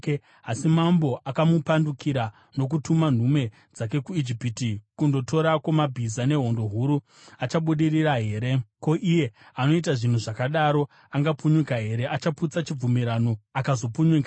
Asi mambo akamupandukira nokutuma nhume dzake kuIjipiti kundotorako mabhiza nehondo huru. Achabudirira here? Ko, iye anoita zvinhu zvakadaro angapunyuka here? Achaputsa chibvumirano akazopunyuka here?